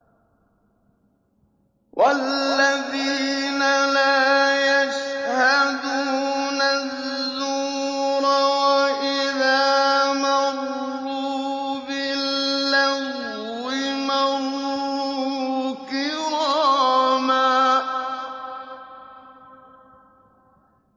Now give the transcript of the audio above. وَالَّذِينَ لَا يَشْهَدُونَ الزُّورَ وَإِذَا مَرُّوا بِاللَّغْوِ مَرُّوا كِرَامًا